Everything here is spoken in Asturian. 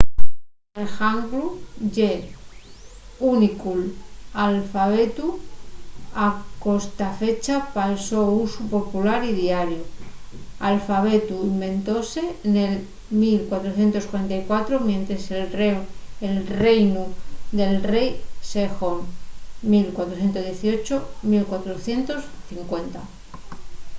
el hangul ye l'únicu alfabetu a costafecha pal so usu popular y diariu. l'alfabetu inventóse nel 1444 mientres el reinu del rei sejong 1418–1450